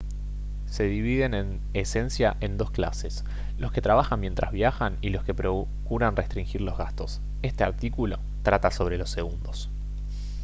se dividen en esencia en dos clases los que trabajan mientras viajan y los que procuran restringir los gastos este artículo trata sobre los segundos